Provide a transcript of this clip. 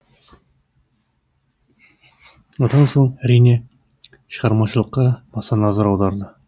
одан соң әрине шығармашылыққа баса назар аударды